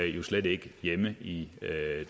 jo slet ikke hjemme i